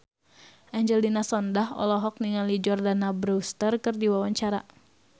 Angelina Sondakh olohok ningali Jordana Brewster keur diwawancara